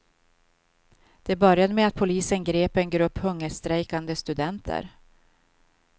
Det började med att polisen grep en grupp hungerstrejkande studenter.